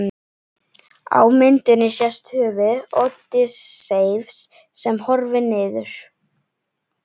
Á myndinni sést höfuð Ódysseifs sem horfir niður.